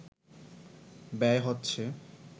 ব্যয় হচ্ছে